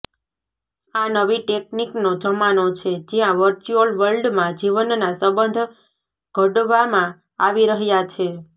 આ નવી ટેકનિકનો જમાનો છે જ્યાં વર્ચ્યુઅલ વર્લ્ડમાં જીવનના સંબંધ ઘડવામાં આવી રહ્યા છે